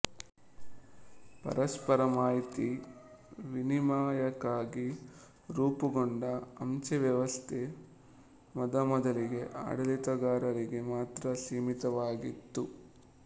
ಪರಸ್ಪರ ಮಾಹಿತಿ ವಿನಿಮಯಕ್ಕಾಗಿ ರೂಪುಗೊಂಡ ಅಂಚೆ ವ್ಯವಸ್ಥೆ ಮೊದಮೊದಲಿಗೆ ಆಡಳಿತಗಾರರಿಗೆ ಮಾತ್ರ ಸೀಮಿತವಾಗಿತ್ತು